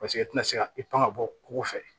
Paseke e tɛna se ka i pan ka bɔ ko fɛ